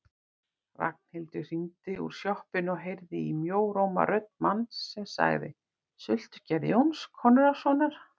Ragnhildur hringdi úr sjoppunni og heyrði í mjóróma rödd manns sem sagði: Sultugerð Jóns Konráðssonar